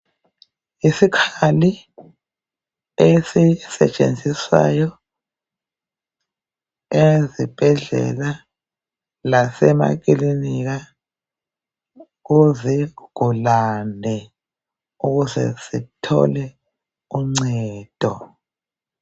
Isikhali esisetshenziswayo esibhedlela lasemakilinika kuzigulane ukuze zithole uncedo.